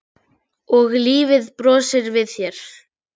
Hvað er það, lagsi?